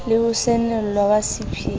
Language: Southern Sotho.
le ho senolwa ha sephiri